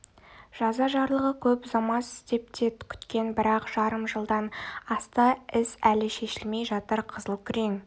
жаза жарлығы көп ұзамас деп те күткен бірақ жарым жылдан асты іс әлі шешілмей жатыр қызыл-күрең